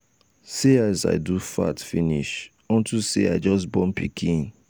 see as i do fat finish unto say i just born pikin.